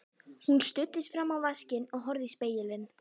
Hún studdist fram á vaskinn og horfði í spegilinn.